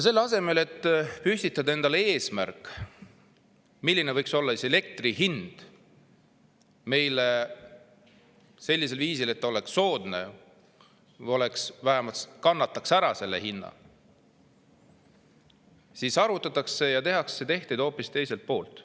Selle asemel, et püstitada endale eesmärk, milline võiks olla elektri hind, et see oleks soodne või vähemalt kannataks selle hinna ära, arvutatakse ja tehakse tehteid hoopis teiselt poolt.